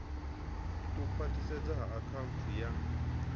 u khwathisedzwa ha akhaunthu ya